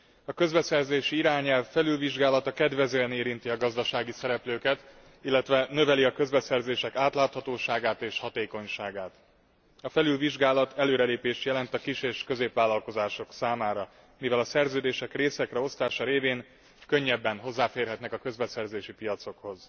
A közbeszerzési irányelv felülvizsgálata kedvezően érinti a gazdasági szereplőket, illetve növeli a közbeszerzések átláthatóságát és hatékonyságát. A felülvizsgálat előrelépést jelent a kis és középvállalkozások számára, mivel a szerződések részekre osztása révén könnyebben hozzáférhetnek a közbeszerzési piacokhoz.